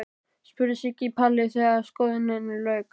spurði Siggi Palli þegar skoðuninni lauk.